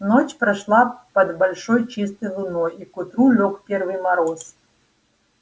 ночь прошла под большой чистой луной и к утру лёг первый мороз